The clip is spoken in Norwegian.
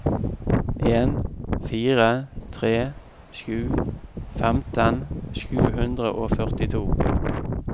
en fire tre sju femten sju hundre og førtito